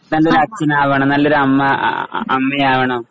നല്ലൊരു അച്ഛനാവണം നല്ലൊരമ്മ ആ ആ ആ അമ്മയാവണം